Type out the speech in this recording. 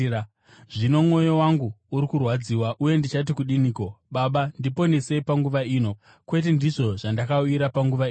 “Zvino mwoyo wangu uri kurwadziwa, uye ndichati kudiniko? ‘Baba, ndiponesei kubva panguva ino?’ Kwete, ndizvo zvandakauyira panguva ino.